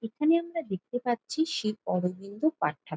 এখানে আমরা দেখতে পাচ্ছি শ্রী অরবিন্দ পাট্টা ।